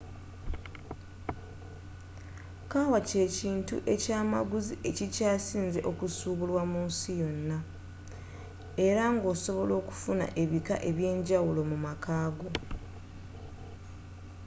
kawa kye kintu ekya maguzi ekikyasinze okusubulwa mu nsi yonna era nga osobola okufuna ebika ebyenjawulo mu maka go